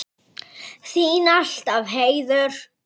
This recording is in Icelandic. Þín alltaf, Heiður.